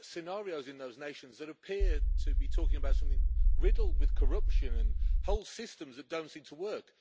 scenarios in those nations that appear to be talking about something riddled with corruption and whole systems that don't seem to work.